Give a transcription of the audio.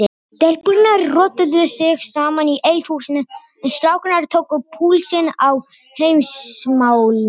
Stelpurnar rottuðu sig saman í eldhúsinu en strákarnir tóku púlsinn á Heimsmálunum.